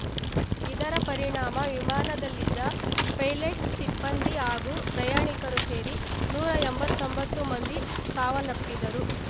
ಇದರ ಪರಿಣಾಮ ವಿಮಾನದಲ್ಲಿದ್ದ ಪೈಲಟ್‌ ಸಿಬ್ಬಂದಿ ಹಾಗೂ ಪ್ರಯಾಣಿಕರು ಸೇರಿ ನೂರಾ ಎಂಬತ್ತೊಂಬತ್ತು ಮಂದಿ ಸಾವನ್ನಪ್ಪಿದರು